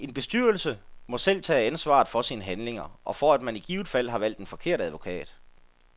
En bestyrelse må selv tage ansvaret for sine handlinger og for, at man i givet fald har valgt en forkert advokat.